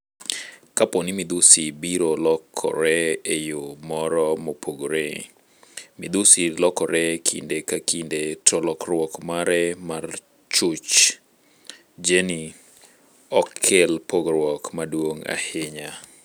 Kapo ni midhusi biro lokore eyoo moro mopore. Midhusi lokore kinde ka kinde, to lokruok mare mar chuch jeni, ok kel pogruok maduong' ahinya.